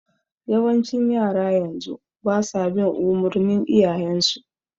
Yawancin yaran yanzu basa bin umurnin iyayen su